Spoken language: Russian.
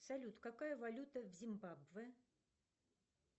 салют какая валюта в зимбабве